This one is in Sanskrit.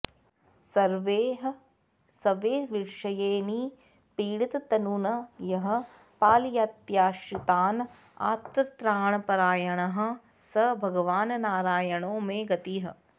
सर्वैः स्वैर्विषयैर्निपीडिततनून् यः पालयत्याश्रितान् आर्तत्राणपरायणः स भगवान्नारायणो मे गतिः